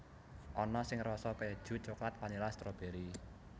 Ana sing rasa kèju coklat vanila stroberi